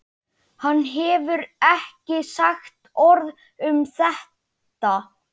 Hann hefur ekki sagt orð um þetta.